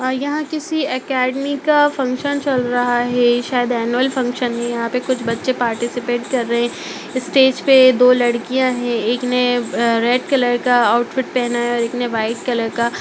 यहाँ किसी अकडमी का फ़न्सन चल रहा है शायद अनुवल फ़न्सन है यहाँ पे कुछ बच्चे पार्टिसिपेट कर रहे है स्टेज पे दो लडकिया एक ने रेड कलर का ओउट्फ़ीट पेहना और एक ने व्हाईट कलर का।